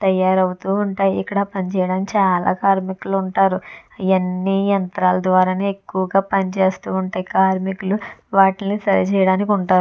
తయారవుతూ ఉంటాయి. ఇక్కడ పనిచేయడం చాలా కార్మికులు ఉంటారు. ఇయన్ని యంత్రాల ద్వారానే ఎక్కువగా పని చేస్తూ ఉంటాయి. కార్మికులు వాటిని సరిచేయడానికి ఉంటారు.